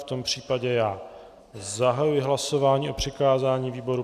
V tom případě já zahajuji hlasování o přikázání výboru.